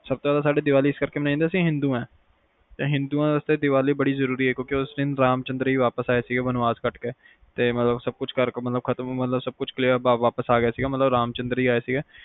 ਸਬ ਤੋਂ ਜ਼ਿਆਦਾ ਸਾਡੇ ਲਈ ਦੀਵਾਲੀ ਇਸ ਕਰਕੇ ਮਨਾਇ ਜਾਂਦੀ ਹੈ ਕਿਉਂਕਿ ਅਸੀਂ ਹਿੰਦੂ ਹਾਂ ਤੇ ਹਿੰਦੂਆਂ ਲਈ ਦੀਵਾਲੀ ਬੜੀ ਜ਼ਰੂਰੀ ਆ ਕਿਓਕੇ ਉਸ ਦਿਨ ਰਾਮਚੰਦਰ ਜੀ ਵਾਪਿਸ ਆਏ ਸੀ ਬਨਵਾਸ ਕੱਟ ਕੇ ਤੇ ਮਤਲਬ ਸਬ ਕੁਛ ਖਤਮ ਸਬ clear ਕਰਕੇ ਵਾਪਿਸ ਆ ਗਏ ਸੀ ਰਾਮਚੰਦਰ ਜੀ ਆਏ ਸੀ